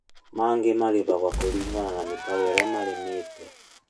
Angĩ marĩhagwo kũringana na mĩtaro ĩrĩa marĩmĩte